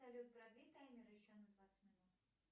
салют продли таймер еще на двадцать минут